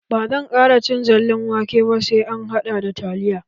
Ba zan ƙara cin zallan wake ba, sai an hada da taliya.